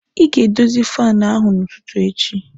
Ị ga-edozi fan ahụ n'ụtụtụ echi!